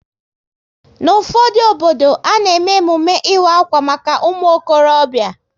N'ufodu obodo, a na eme emume ịwa akwa maka umuokorobia